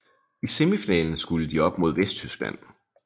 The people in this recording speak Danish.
I semifinalen skulle de op mod Vesttyskland